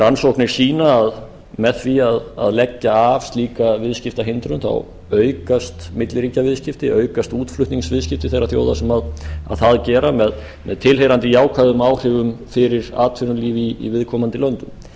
rannsóknir sýna að með því að leggja af slíka viðskiptahindrun þá aukast milliríkjaviðskipti aukast útflutningsviðskipti þeirra þjóða sem það gera með tilheyrandi jákvæðum áhrifum fyrir atvinnulífið í viðkomandi löndum